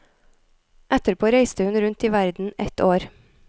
Etterpå reiste hun rundt i verden ett år.